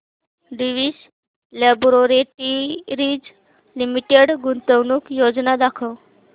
Divi's laboratories limited गुंतवणूक योजना दाखव